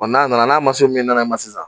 N'a nana n'a min nana ma sisan